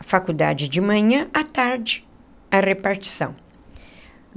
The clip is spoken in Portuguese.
A faculdade de manhã, à tarde, a repartição.